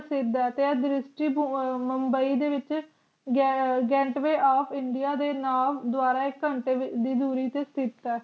ਪੈਂਦਾ ਅਤੇ ਹਿੰਦੂ ਧਰਮ ਦਾ ਇੱਕ ਬੰਬਈ ਦੇ ਵਿੱਚ get way of india ਦੇ ਨਾਮ ਦੁਆਰਾ ਇੱਕ ਘੰਟੇ ਦੀ ਦੂਰੀ ਤੇ ਸਥਿਤ ਆਸ਼ਰਮ ਦੀਆਂ